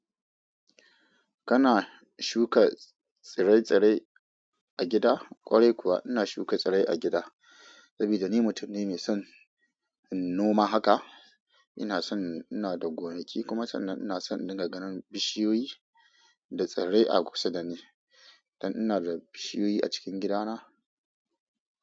Kana shuka tsirai-tsirai a gida? Ƙwarai kuwa ina shuka tsirai a gida saboda ni mutum ne mai noma haka Inason ina da gonaki kuma sannan ina son in dinga ganin bishiyoyi da tsirrai a kusa dani. Dan ina da bishiyoyi a cikin gidana.